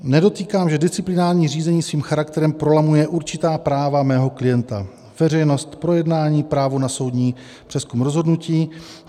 Nedotýkám (?), že disciplinární řízení svým charakterem prolamuje určitá práva mého klienta - veřejnost projednání, právo na soudní přezkum rozhodnutí.